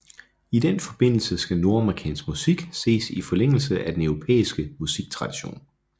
I den forbindelse skal nordamerikansk musik ses i forlængelse af den europæiske musiktradition